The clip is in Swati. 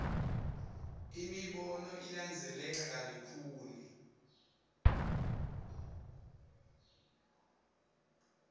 imibono ilandzeleka kalukhuni